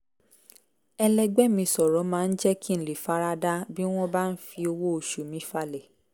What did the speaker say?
ẹlẹgbẹ́ mi sọ̀rọ̀ máa ń jẹ́ kí n lè fara da bí wọ́n bá ń fi owó oṣù mi falẹ̀